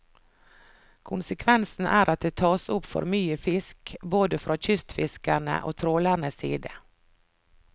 Konsekvensen er at det tas opp for mye fisk, både fra kystfiskerne og trålernes side.